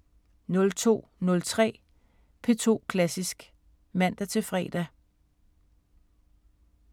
02:03: P2 Klassisk (man-fre)